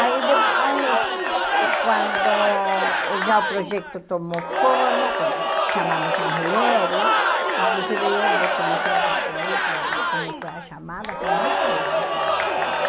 Aí depois de quando já o projeto tomou forma, com chamamos as mulheres, inclusive eu vou te mostrar depois ah como foi a chamada, foi muito engraçada a chamada.